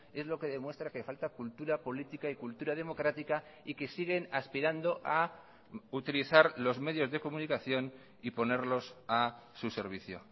es lo que demuestra que falta cultura política y cultura democrática y que siguen aspirando a utilizar los medios de comunicación y ponerlos a su servicio